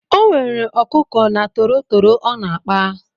O nwere ọkụkọ na tọrọtọrọ ọ na-akpa.